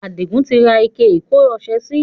Adigun tí ra ike ìkọ́ ọsẹ sì.